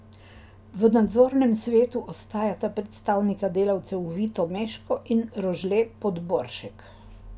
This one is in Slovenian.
V nadzornem svetu ostajata predstavnika delavcev Vito Meško in Rožle Podboršek.